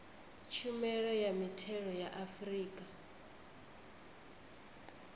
tshumelo ya mithelo ya afrika